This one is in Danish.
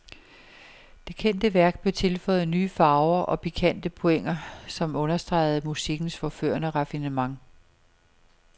Det kendte værk blev tilføjet nye farver og pikante pointer, som understregede musikkens forførende raffinement.